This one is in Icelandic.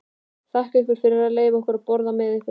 Þakka ykkur fyrir að leyfa okkur að borða með ykkur.